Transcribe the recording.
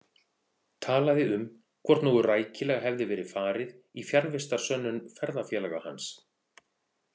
Talaði um hvort nógu rækilega hefði verið farið í fjarvistarsönnun ferðafélaga hans.